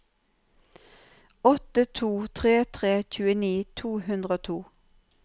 åtte to tre tre tjueni to hundre og to